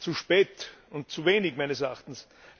Zu spät und zu wenig, meines Erachtens.